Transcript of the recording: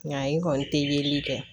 Nka i kɔni te